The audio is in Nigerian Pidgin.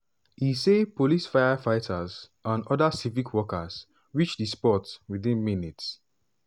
e say police firefighters and oda civic workers reach di spot within minutes.